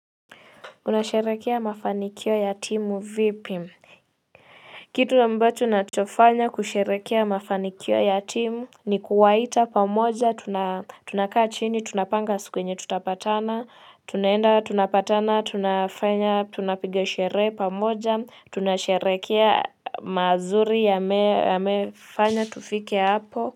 Unasherehekea mafanikio ya timu vipi? Kitu ambacho nachofanya kusherehekea mafanikio ya timu ni kuwaita pamoja tunakaa chini tunapanga suki yenye tutapatana tunaenda tunapatana tunafanya tunapiga sherehe pamoja tunasherehekea mazuri yamefanya tufike hapo.